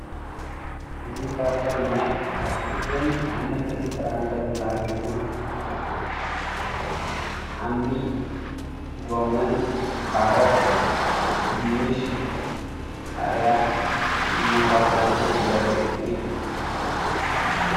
እዚ ካብቶም ናይ ኣትክልትን ኣሕምልትን ፍራምረን ዝባሃል ኮይኑ ሓምሊ፣ ጎመን፣ ካሮት ፣ድንሽ፣ ቃርያ ዝመሳሰሉ ዘርኢ እዩ፡፡